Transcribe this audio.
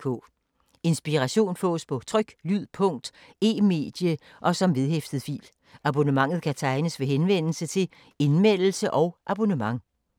Inspiration fås på tryk, lyd, punkt, e-medie og som vedhæftet fil. Abonnement kan tegnes ved henvendelse til Indmeldelse og abonnement.